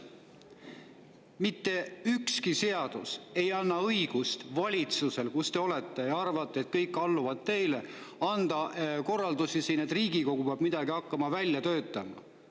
Mitte ükski seadus ei anna valitsusele, kus te olete, õigust arvata, et kõik alluvad teile, ja anda korraldusi, et Riigikogu peab hakkama midagi välja töötama.